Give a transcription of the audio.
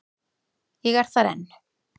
Ég er þar enn.